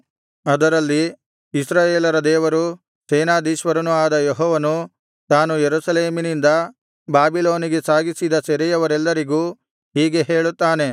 ಅದರಲ್ಲಿ ಇಸ್ರಾಯೇಲರ ದೇವರೂ ಸೇನಾಧೀಶ್ವರನೂ ಆದ ಯೆಹೋವನು ತಾನು ಯೆರೂಸಲೇಮಿನಿಂದ ಬಾಬಿಲೋನಿಗೆ ಸಾಗಿಸಿದ ಸೆರೆಯವರೆಲ್ಲರಿಗೂ ಹೀಗೆ ಹೇಳುತ್ತಾನೆ